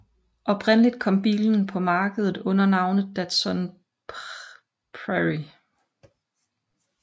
Oprindeligt kom bilen på markedet under navnet Datsun Prairie